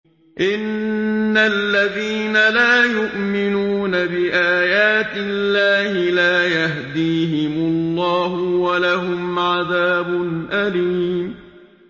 إِنَّ الَّذِينَ لَا يُؤْمِنُونَ بِآيَاتِ اللَّهِ لَا يَهْدِيهِمُ اللَّهُ وَلَهُمْ عَذَابٌ أَلِيمٌ